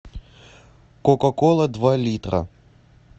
кока кола два литра